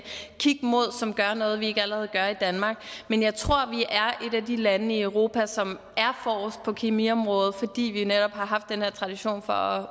kigge mod og som gør noget vi ikke allerede gør i danmark men jeg tror vi er et af de lande i europa som er forrest på kemiområdet fordi vi netop har haft den her tradition for